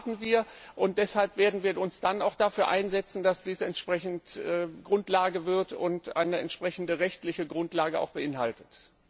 Darauf warten wir, und deshalb werden wir uns dann auch dafür einsetzen, dass dies entsprechend Grundlage wird und eine entsprechende rechtliche Grundlage beinhaltet.